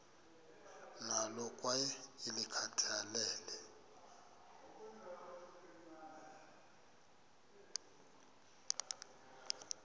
nalo kwaye ulikhathalele